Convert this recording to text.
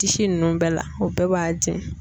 Disi ninnu bɛɛ la o bɛɛ b'a